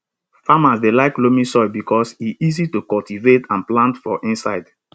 farmers dey like loamy soil because e easy to cultivate and plant for inside